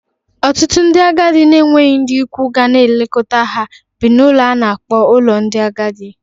Ọtụtụ ndị agadi na-enweghị ndị ikwu ha ga na-elekọta ha bi n’ụlọ a na-akpọ ụlọ ndị agadi